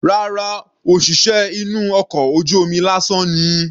Rárá, òṣìṣẹ́ inú ọkọ̀ ojú omi lásán ni.